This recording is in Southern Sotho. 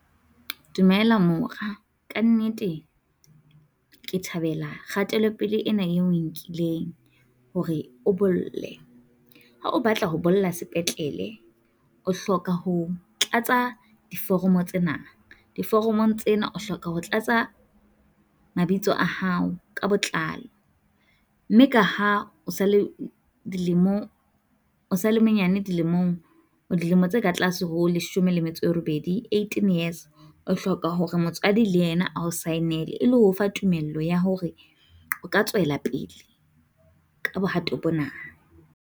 Dumela mora, ka nnete ke thabela kgatelo pele ena eo o e nkileng hore o bolle. Ha o batla ho bolla sepetlele o hloka ho tlatsa foromo tsena. Diforomong tsena o hloka ho tlatsa mabitso a hao ka botlalo mme ka ha o sa le dilemong o sa le monyane dilemong, dilemo tse ka tlase ho leshome le metso e robedi, eighteen years, o hloka hore motswadi le yena a o saenele e le ho fa tumello ya hore o ka tswela pele ka bohato bona.